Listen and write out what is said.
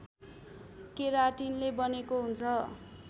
केराटिनले बनेको हुन्छ